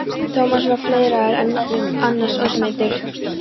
Thomas var fleiðraður en annars ómeiddur.